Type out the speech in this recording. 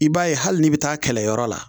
I b'a ye hali n'i bɛ taa kɛlɛyɔrɔ la